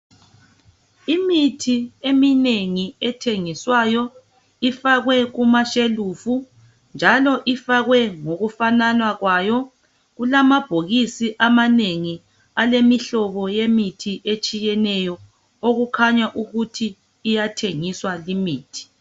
Imithi eminengi ethengiswayo ifakwe kumashelufu njalo ifakwe ngokufanana kwayo. Kulamabhokisi amanengi alemihlobo yemithi etshiyeneyo okukhanya ukuthi iyathengiswa limithi.